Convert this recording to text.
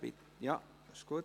Ja, das ist gut.